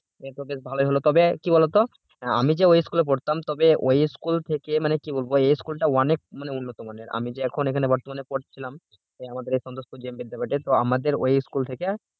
মানে একদিকে ভালোই হলো তবে কি বলতো আমি যে school পড়তাম তবে ওই school থেকে মানে কি বলবো এই school টা অনেক মানে উন্নত মানের আমি যে এখন বর্তমানে পড়ছিলাম আমাদের এই তো আমাদের school থেকে এই school থেকে